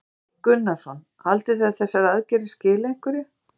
Hafþór Gunnarsson: Haldið þið að þessar aðgerðir skili einhverju?